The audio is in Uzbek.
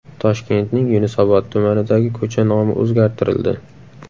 Toshkentning Yunusobod tumanidagi ko‘cha nomi o‘zgartirildi.